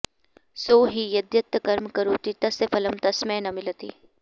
सो हि यद्यत् कर्म करोति तस्य फलं तस्मै न मिलति